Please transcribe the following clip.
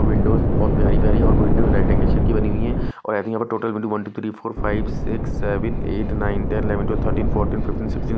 Windows बहोत प्यारी प्यारी है और विंडो रेक्टेंगल शेप की बनी हुई है और आई थिंक यहां पर total window one two three four five six seven eight nine ten eleven twelve thirteen fourteen fifteen sixteen --